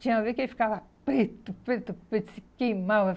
Tinha vez que ele ficava preto, preto, preto, se queimava.